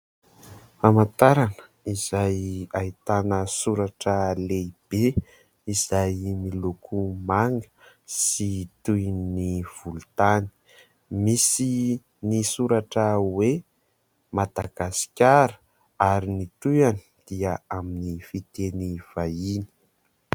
Famantarana izay ahitana soratra lehibe, izay miloko manga sy toy ny volontany, misy ny soratra hoe " Madagasikara " ary ny tohiny dia amin'ny fiteny vahiny.